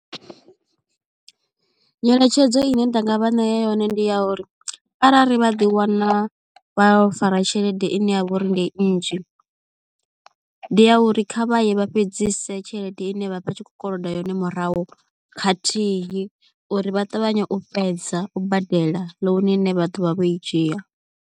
Nyeletshedzo ine nda nga vha ṋea yone ndi ya uri arali vha ḓi wana vha fara tshelede i ne ya vha uri ndi nnzhi ndi ya uri kha vha ye vha fhedzise tshelede ine vha vha tshi khou koloda yone murahu khathihi uri vha ṱavhanye u fhedza u badela ḽouni ine vha ḓo vha vho i dzhia.